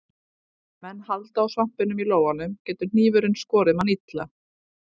Ef menn halda á svampinum í lófanum getur hnífurinn skorið mann illa.